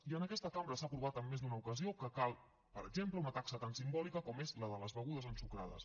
i en aquesta cambra s’ha aprovat en més d’una ocasió que cal per exemple una taxa tan simbòlica com és la de les begudes ensucrades